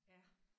Ja